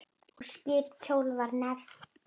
Og skip kjóll var nefnt.